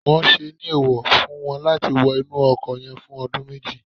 won se ni eewo fun won lati wo inu oko yen fun odun meji